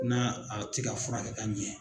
N'a a ti ka fura kɛ ka ɲɛ.